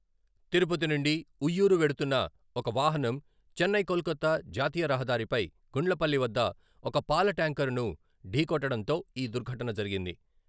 తిరుపతి నుండి ఉయ్యూరు వెడుతున్న ఒక వాహనం చెన్నై కోలకత్తా జాతీయ రహదారిపై గుండ్లపల్లి వద్ద ఒక పాల ట్యాంకర్ను ఢీ కొట్టడంతో ఈ దుర్ఘటన జరిగింది.